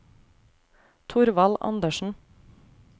Thorvald Andersen